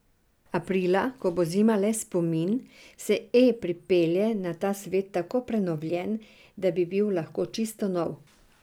Aprila, ko bo zima le spomin, se E pripelje na ta svet tako prenovljen, da bi bil lahko čisto nov.